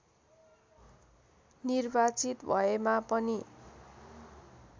निर्वाचित भएमा पनि